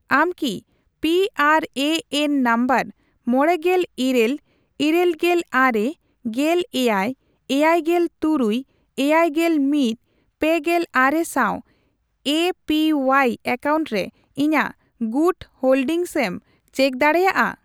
ᱟᱢ ᱠᱤ P R A N number ᱢᱚᱲᱮᱜᱮᱞ ᱤᱨᱟᱹᱞ ᱤᱨᱟᱹᱞᱜᱮᱞ ᱟᱨᱮ ,ᱜᱮᱞ ᱮᱭᱟᱭ ,ᱮᱭᱟᱭᱜᱮᱞ ᱛᱩᱨᱩᱭ ,ᱮᱭᱟᱭᱜᱮᱞ ᱢᱤᱛ ,ᱯᱮᱜᱮᱞ ᱟᱨᱮ ᱥᱟᱸᱣ ᱮ ᱯᱤ ᱣᱣᱟᱭ ᱮᱠᱟᱣᱩᱱᱴ ᱨᱮ ᱤᱧᱟᱜ ᱜᱩᱴ ᱦᱳᱞᱰᱤᱝᱮᱢ ᱪᱮᱠ ᱫᱟᱲᱮᱭᱟᱜᱼᱟ ᱾